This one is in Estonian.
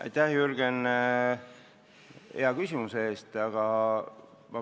Aitäh, Jürgen, hea küsimuse eest!